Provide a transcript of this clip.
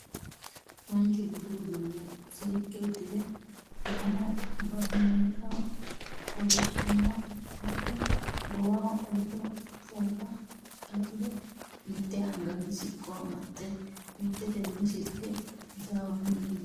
Manchu budu uudune seekke udirre, umoho barimeexxa qolonniha wodhe, goowaho qolotte fooxxa xaaxxire, mitte anganni siqqo amaxxe mittetenni silike hasaawanni leelanno